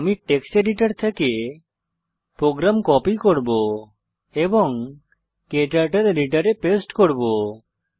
আমি text editor থেকে program copy করব এবং ক্টার্টল এডিটরে পেস্ট করব